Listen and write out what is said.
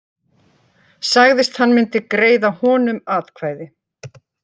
Sagðist hann myndi greiða honum atkvæði